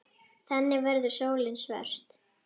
Þannig verður sólin svört.